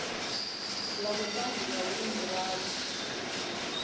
la vhutanzi la uri ndivhadzo